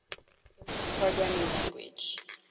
lisp programming language